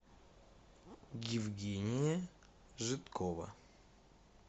евгения жидкова